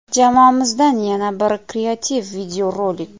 Jamoamizdan yana bir kreativ video rolik.